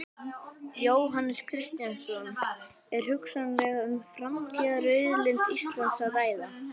Jóhannes Kristjánsson: Er hugsanlega um framtíðarauðlind Íslands að ræða?